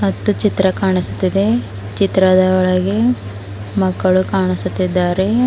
ಮತ್ತು ಚಿತ್ರ ಕಾಣಸ್ತಿದೆ ಚಿತ್ರದ ಒಳಗೆ ಮಕ್ಕಳು ಕಾಣಸುತಿದ್ದಾರೆ.